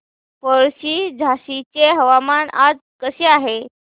पळशी झाशीचे हवामान आज कसे आहे